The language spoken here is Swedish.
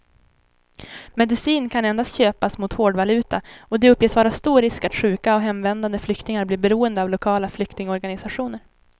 Medicin kan endast köpas mot hårdvaluta och det uppges vara stor risk att sjuka och hemvändande flyktingar blir beroende av lokala flyktingorganisationer.